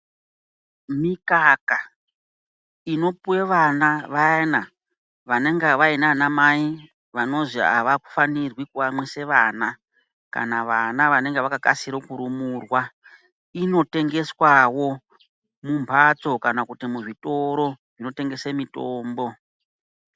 Mikaka inopuve vana vayana vanenge vaine vana mai vanozi havafanirwi kuamwise vana. Kana vana vanenge vakakasire kurumurwa inotengeswavo mumhatso kana kuti muzvitoro zvinotengese mitombo.